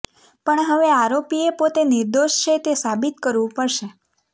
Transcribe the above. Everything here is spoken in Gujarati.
પણ હવે આરોપીએ પોતે નિર્દોષ છે તે સાબિત કરવું પડશે